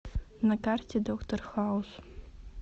на карте доктор хаус